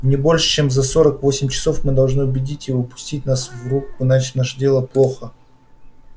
не больше чем за сорок восемь часов мы должны убедить его пустить нас в рубку иначе наше дело плохо